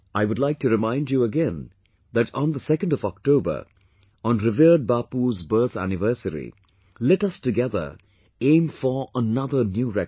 I too would like to remind you again that on the 2 nd of October, on revered Bapu's birth anniversary, let us together aim for another new record